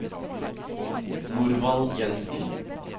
Norvald Jenssen